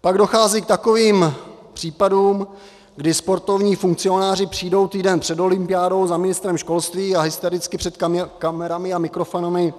Pak dochází k takovým případům, kdy sportovní funkcionáři přijdou týden před olympiádou za ministrem školství a hystericky před kamerami a mikrofony